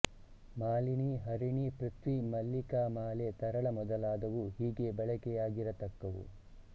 ಮಾಲಿನಿ ಹರಿಣಿ ಪೃಥ್ವಿ ಮಲ್ಲಿಕಾಮಾಲೆ ತರಳ ಮೊದಲಾದವು ಹೀಗೆ ಬಳಕೆಯಾಗಿರತಕ್ಕವು